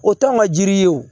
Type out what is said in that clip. O t'anw ka jiri ye o